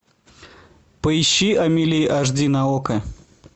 поищи амели аш ди на окко